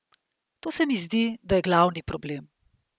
To se mi zdi, da je glavni problem.